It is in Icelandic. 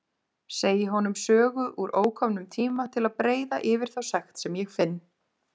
Segi honum sögu úr ókomnum tíma til að breiða yfir þá sekt sem ég finn.